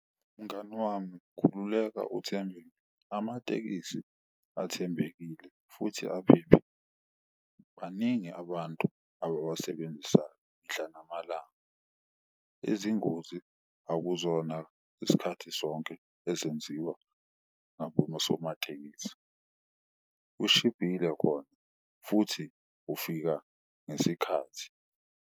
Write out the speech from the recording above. Mngani wami khululeka uthembe amatekisi athembekile futhi aphephile. Baningi abantu abawasebenzisayo mihla namalanga, izingozi akuzona isikhathi sonke ezenziwa osomatekisi. Ushibhile khona futhi ufika ngesikhathi.